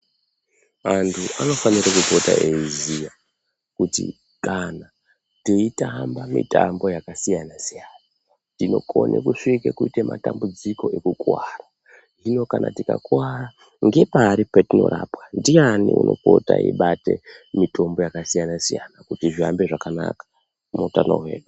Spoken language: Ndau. Vantu vanofanira kupota veiziva kuti kana teitamba mitambo yakasiyana siyana tinokona kusvika matambudziko kukuwara tikakuwara ndepari patingarapwa tikakuwara ndiani anokona kuti aibate mitombo yakasiyana siyana kuti zvihambe zvakanaka muhutano hwedu.